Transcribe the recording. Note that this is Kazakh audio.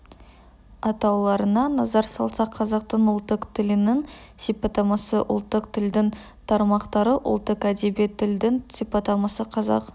атауларына назар салсақ қазақтың ұлттық тілінің сипаттамасы ұлттық тілдің тармақтары ұлттық әдеби тілдің сипаттамасы қазақ